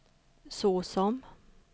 såsom